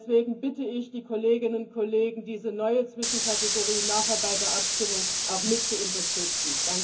Deswegen bitte ich die Kolleginnen und Kollegen, diese neue Zwischenkategorie nachher bei der Abstimmung auch mit zu unterstützen.